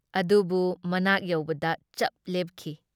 ꯑꯗꯨꯕꯨ ꯃꯅꯥꯛ ꯌꯧꯕꯗ ꯆꯞ ꯂꯦꯞꯈꯤ ꯫